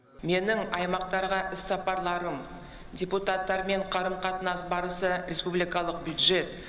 менің аймақтарға іссапарларым депутаттармен қарым қатынас барысы республикалық бюджет